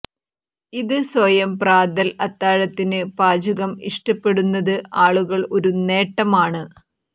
ഇത് സ്വയം പ്രാതൽ അത്താഴത്തിന് പാചകം ഇഷ്ടപ്പെടുന്നത് ആളുകൾ ഒരു നേട്ടം ആണ്